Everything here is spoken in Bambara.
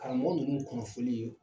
Karamɔgɔ nunnu kunnafoni ye